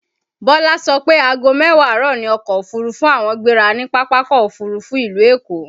Bọlá so pé aago mẹ́wàá àárọ̀ ni ọkọ̀ òfurufú àwọn gbéra ni Pápákọ̀ Òfurufú ìlú Èkó